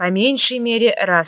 по меньшей мере раз